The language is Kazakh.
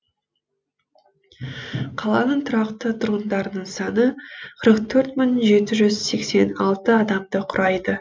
қаланың тұрақты тұрғындарының саны қырық төрт мың жеті жүз сексен алты адамды құрайды